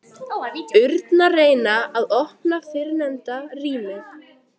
urnar reyna að opna fyrrnefnda rýmið.